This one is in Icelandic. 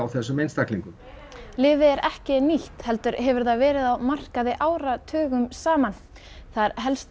þessum einstaklingum lyfið er ekki nýtt heldur hefur það verið á markaði áratugum saman það er helst